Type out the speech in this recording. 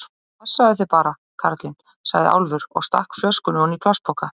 Passaðu þig bara, kallinn, sagði Álfur og stakk flöskunni oní plastpoka.